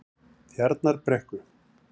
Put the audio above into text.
Tjarnarbrekku